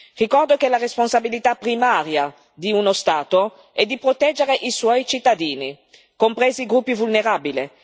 Ricordo che la responsabilità primaria di uno Stato è di proteggere i suoi cittadini, compresi i gruppi vulnerabili.